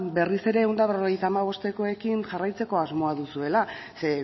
berriz ere ehun eta berrogeita hamabostekoekin jarraitzeko asmoa duzuela ze